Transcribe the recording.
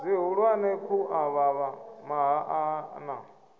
zwihulwane khu avhavha mahaḓa na